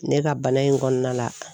Ne ka bana in kɔnɔna la